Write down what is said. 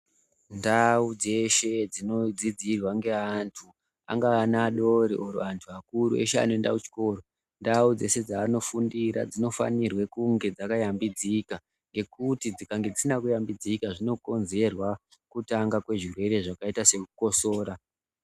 Ndau dzeshe dzino dzidizirwa nge antu angava ana adoro kana antu akuru eshe anoenda ku chikoro ndau dzeshe dzano fundira dzino fanirwe kunge dzaka yambidzika ngekuti dzikange dzisina ku yambidzika zvinokonzerwa kutanga kwe zvirwere zvakaita seku kotsora.